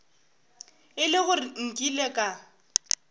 e le gore nkile ka